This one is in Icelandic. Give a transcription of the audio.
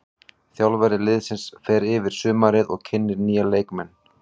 Þjálfari liðsins fer yfir sumarið og kynnir nýja leikmenn.